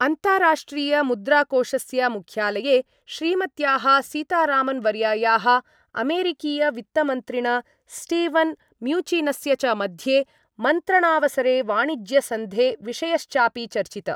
अन्ताराष्ट्रीयमुद्राकोषस्य मुख्यालये श्रीमत्याः सीतारामन्वर्यायाः, अमेरीकीयवित्तमन्त्रिण स्टीवन् म्यूचिनस्य च मध्ये मन्त्रणावसरे वाणिज्यसन्धे विषयश्चापि चर्चित।